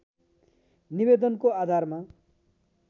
निवेदनको आधारमा